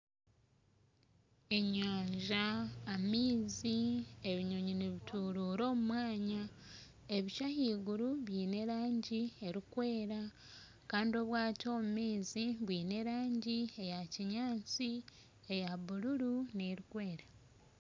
Enyaaja amaizi ebinyonyi nibitiruura omu mwanya ebicu ahaiguru biine erangi erikwera Kandi obwato omu maizi bwine erangi eyakinyatsi eya bururu n'erikwera